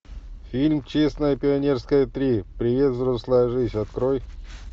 фильм честное пионерское три привет взрослая жизнь открой